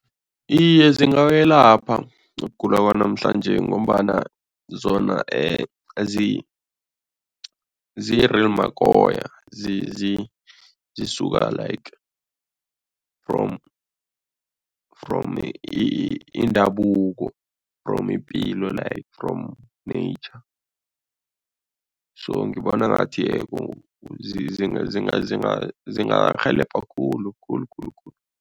Iye, zingakwelapha ukugula kwanamhlanje ngombana zona ziyi-real makoya zisuka like from from indabuko from ipilo like from nature so ngibona ngathi zingarhelebha khulukhulu khulukhulu.